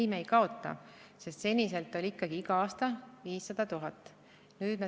Ei, me ei kaota, sest seni oli ikkagi iga aasta 500 000 eurot.